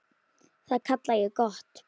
Það kalla ég gott.